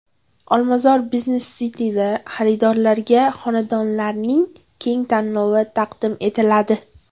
Olmazor Business City’da xaridorlarga xonadonlarning keng tanlovi taqdim etiladi.